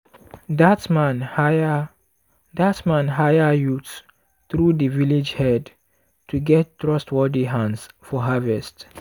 dat man hire dat man hire youths through di village head to get trustworthy hands for harvest.